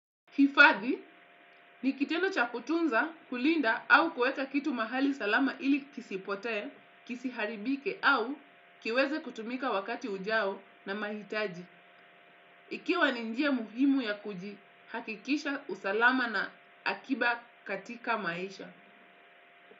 Hifadhi ni kitendo cha kutunza kulinda au kuweka kitu mahali salama ili kisipote, kisiharibike au kiweze kutumika wakati ujao na mahitaji. Ikiwa ninjia muhimu ya kuji hakikisha usalama na akiba katika maisha.